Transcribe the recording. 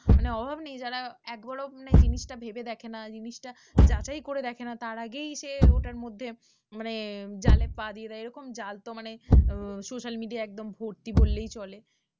মানে অভাব নেই, যারা একবারও মানে জিনিসটা ভেবে দেখে না, জিনিসটা যাচাই করে দেখে না, তার আগেই সে ওটার মধ্যে মানে জালে পা দিয়ে দেয় এইরকম জাল তো মানে আহ social media য় একদম ভর্তি বললেই চলে।